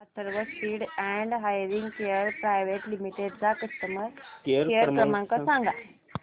Atharva speech and hearing care private limited चा customer care क्रमांक सांगा